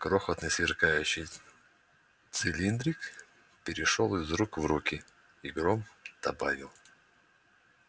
крохотный сверкающий цилиндрик перешёл из рук в руки и гром добавил